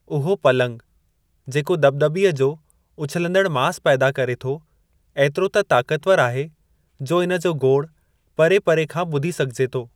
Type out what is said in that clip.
उहो पलंगु जेको दॿदॿीअ जो उछलंदड़ मास पैदा करे थो एतिरो त ताक़तवर आहे जो इन जो गोड़ु परे परे खां ॿुधी सघिजे थो।